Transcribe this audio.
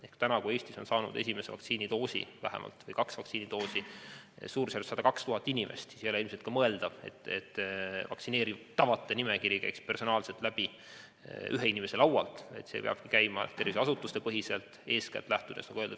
Ehk praegu, kui Eestis on saanud esimese vaktsiinidoosi ja osa ka teise vaktsiinidoosi umbes 102 000 inimest, ei ole ilmselt mõeldav, et vaktsineeritavate nimekiri käiks läbi ühe inimese laualt, vaid see peabki toimuma terviseasutustepõhiselt, eeskätt lähtudes valitsuse plaanist.